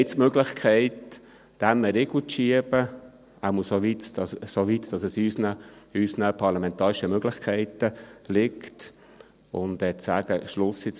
Jetzt haben wir die Möglichkeit, dem einen Riegel vorzuschieben, jedenfalls soweit es in unseren parlamentarischen Möglichkeiten liegt, und zu sagen «Jetzt Schluss damit!